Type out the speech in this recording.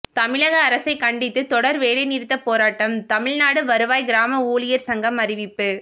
தமிழக அரசைக் கண்டித்து தொடர் வேலை நிறுத்த போராட்டம் தமிழ்நாடு வருவாய் கிராம ஊழியர் சங்கம் அறிவிப்பு